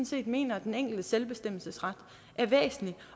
set mener at den enkeltes selvbestemmelsesret er væsentlig